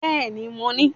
Bẹ́ẹ̀ni mo ní